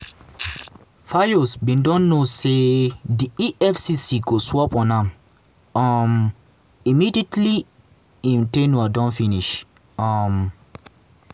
fayose bin don know say di efcc go swoop on am um immediately im ten ure finish. um